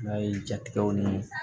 N'a ye ja tigɛw ni